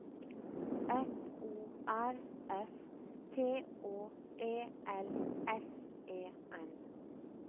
F O R S T Å E L S E N